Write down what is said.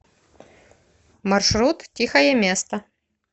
маршрут тихое место